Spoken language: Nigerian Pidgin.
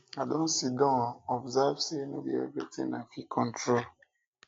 i um don sidon observe say no um be everything um i fit control